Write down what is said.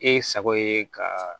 E sago ye ka